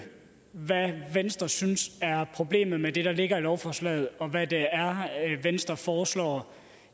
hvad venstre synes er problemet med det der ligger i lovforslaget og hvad det er venstre foreslår